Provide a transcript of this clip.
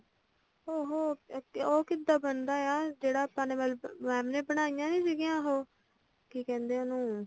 ਉਹੋ ਉਹ ਕਿੱਦਾਂ ਬਣਦਾ ਆਯਾ ਜਿਹੜਾ ਆਪਾ ਨੇ mam ਨੇ ਬਣਾਈਆਂ ਨੀ ਸੀਗਾਈਆਂ ਉਹੋ ਕੀ ਕਹਿੰਦੇ ਆ ਉਹਨੂੰ